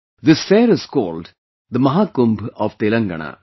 This fair is called Mahakumbh of Telangana